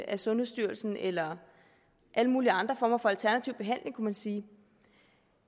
af sundhedsstyrelsen eller alle mulige andre former for alternativ behandling kunne man sige